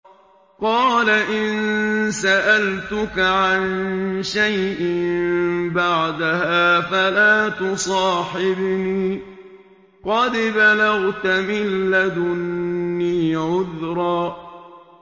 قَالَ إِن سَأَلْتُكَ عَن شَيْءٍ بَعْدَهَا فَلَا تُصَاحِبْنِي ۖ قَدْ بَلَغْتَ مِن لَّدُنِّي عُذْرًا